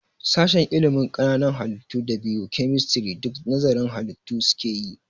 Sashen ilimin ƙananan halittu da bio-kemistri duk nazarın halitu su keyi